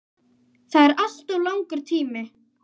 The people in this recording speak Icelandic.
Það er alltof langur tími.